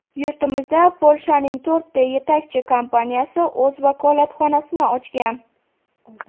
Yurtimizda Polshaning to‘rtta yetakchi kompaniyasi o‘z vakolatxonasini ochgan.